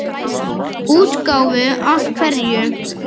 Útgáfu af hverju?